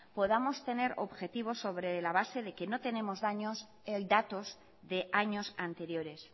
podamos tener objetivo sobre la base de que no tenemos datos de años anteriores